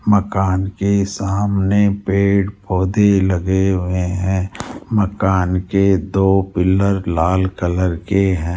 मकान के सामने पेड़ पौधे लगे हुए हैं मकान के दो पिलर लाल कलर के हैं।